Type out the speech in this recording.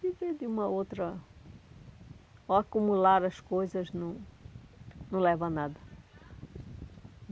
Viver de uma outra... O acumular as coisas não não leva a nada.